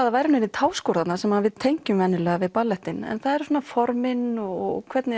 það væru neinir táskór þarna sem við tengjum vanalega við ballettinn en það eru formin og hvernig